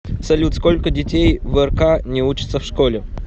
салют сколько детей в рк не учатся в школе